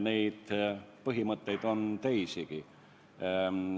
Neid põhimõtteid on teisigi.